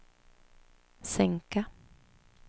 sänka